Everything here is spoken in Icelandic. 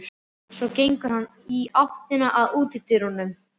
Svo gengur hann í áttina að útidyrunum.